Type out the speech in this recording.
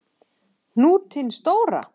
Hnútinn stóra.